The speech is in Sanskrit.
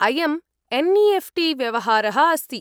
अयम् एन्.ई.एफ्.टी व्यवहारः अस्ति।